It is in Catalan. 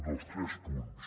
dels tres punts